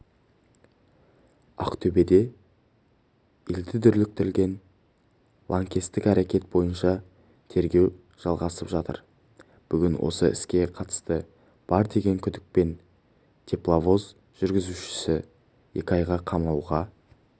ақтөбеде елді дүрліктірген лаңкестік әрекет бойынша тергеу жалғасып жатыр бүгін осы іске қатысы бар деген күдікпен тепловоз жүргізушісі екі айға қамауға